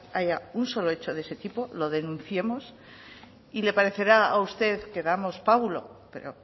haya un solo hecho de ese tipo lo denunciemos y le parecerá a usted que damos pábulo pero